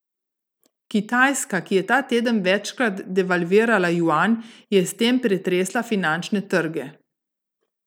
Kitajska, ki je ta teden večkrat devalvirala juan, je s tem pretresla finančne trge.